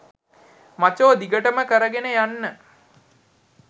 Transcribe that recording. මචෝ දිගටම කරගෙන යන්න.